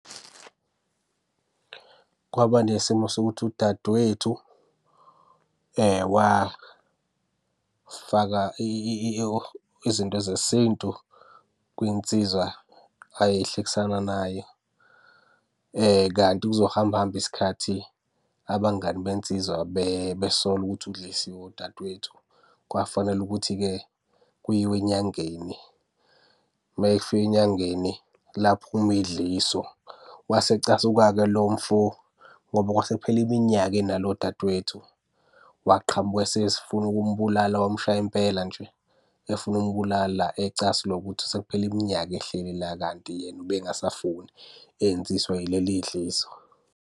Kwaba nesimo sokuthi udadewethu wafaka izinto zesintu kwinsizwa ayehlekisana nayo, kanti kuzohamba hambe isikhathi abangani bensizwa besole ukuthi udlisiwe udadewethu. Kwafanele ukuthi-ke kuyiwe enyangeni. Uma efika enyangeni, laphuma idliso. Wayesecasuka-ke lo mfo ngoba kwase kuphele iminyaka enalo dadewethu. Waqhamuka esefuna ukumbulala wamshaya impela nje. Efuna ukumbulala ecasulwa ukuthi sekuphele iminyaka ehleli la kanti yena ubengasafuni enziswa yileli dliso.